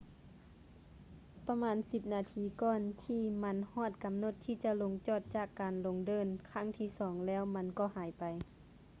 ປະມານສິບນາທີກ່ອນ ທີ່ມັນຮອດກຳນົດທີ່ຈະລົງຈອດຈາກການລົງເດີ່ນຄັ້ງທີ່ສອງແລ້ວມັນກໍຫາຍໄປ